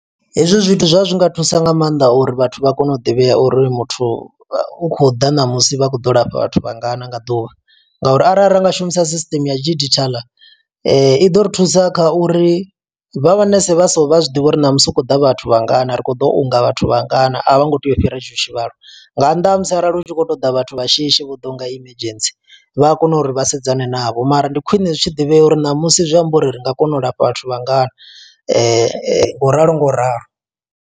Hezwi zwithu zwa zwi nga thusa nga maanḓa uri vhathu vha kone u ḓivhea uri muthu, u khou ḓa ṋamusi vha khou ḓo lafha vhathu vha ngana nga ḓuvha. Nga uri arali ra nga shumisa system ya digital, i ḓo ri thusa kha uri vha manese vha so, vha zwiḓivha uri namusi hu khou da vhathu vha ngana. Ri khou ḓo unga vhathu vha ngana, a vho ngo tea u fhira hetsho tshivhalo, nga nnḓa ha musi arali hu tshi khou u ṱoḓa vhathu vha shishi vho ḓa ho nga emergency. Vha a kona uri vha sedzane navho mara, ndi khwine zwi tshi ḓivhea uri ṋamusi zwi amba uri ri nga kona u lafha vhathu vha ngana ngauralo ngauralo.